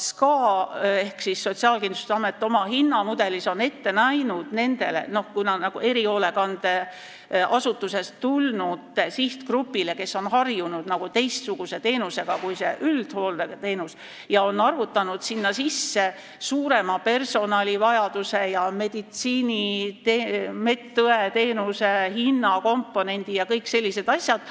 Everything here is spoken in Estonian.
SKA-l ehk Sotsiaalkindlustusametil on nendele – kui nad on erihoolekandeasutusest tulnud –, sellele sihtgrupile, kes on harjunud teistsuguse teenusega kui üldhooldeteenus, valminud hinnamudel, ta on arvutanud sinna sisse suurema personalivajaduse ja meditsiiniõeteenuse hinnakomponendi ja kõik sellised asjad.